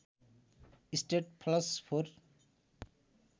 straight flush four